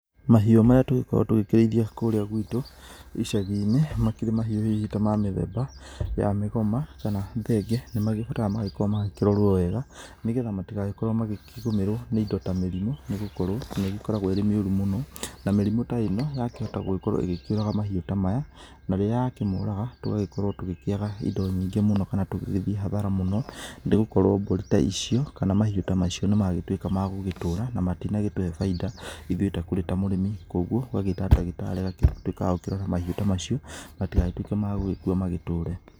Mahiũ marĩa tũkoragwo tũkĩrĩithia kũrĩa gwĩtũ icagi-inĩ nĩ makĩrĩ mahiũ hihi ma mĩthemba ya mĩgoma kana thenge nĩ magĩbataraga gũkorwo magĩkĩrorwo wega, nĩgetha matigagĩkorwo makĩgũmĩrwo nĩ indo ta mĩrimũ, nĩgũkorwo nĩ ĩgĩkoragwo ĩrĩ mĩũru mũno, na mĩrimũ ĩno yakĩhota gũgĩkorwo ĩkĩũraga mahiũ ta maya, rĩrĩa yakĩmoraga tũgakorwo tũgĩkĩaga indo nyingĩ kana tũgĩthiĩ hathara mũno, nĩ gũkorwo mbũri ta icio, kana mahiũ ta macio nĩ magĩtũĩka magũgĩtũra, na matĩnagĩtũhe baĩnda ithuĩ ta kũrĩ ta mũrĩmi, koguo ũgagĩta ndagĩtarĩ agagĩtũĩka wa kũrora mahiũ ta macio matĩgagĩtuĩke magũgĩkua magĩtũre.